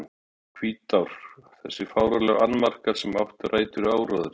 Hvítár Þessir fáránlegu annmarkar, sem áttu rætur í áróðri